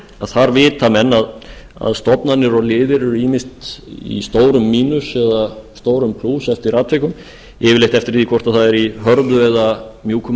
þar vita menn að stofnanir og lyf eru ýmist í stórum mínus eða stórum plús eftir atvikum yfirleitt eftir því hvort það er í hörðu eða mjúku